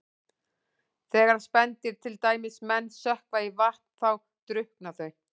Þegar spendýr, til dæmis menn, sökkva í vatn þá drukkna þau.